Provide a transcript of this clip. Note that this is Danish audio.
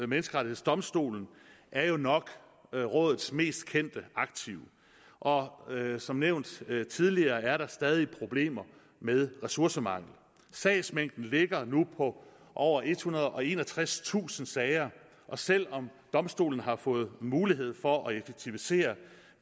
menneskerettighedsdomstol er jo nok rådets mest kendte aktiv og som nævnt tidligere er der stadig problemer med ressourcemangel sagsmængden ligger nu på over ethundrede og enogtredstusind sager og selv om domstolen har fået mulighed for at effektivisere